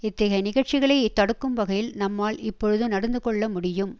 இத்தகைய நிகழ்ச்சிகளை தடுக்கும் வகையில் நம்மால் இப்பொழுது நடந்து கொள்ள முடியும்